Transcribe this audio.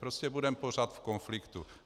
Prostě budeme pořád v konfliktu.